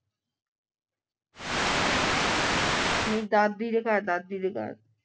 ਮੇਰੀ ਦਾਦੀ ਦੇ ਘਰ ਦਾਦੀ ਦੇ ਘਰ